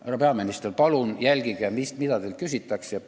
Härra peaminister, palun jälgige, mida teilt küsitakse!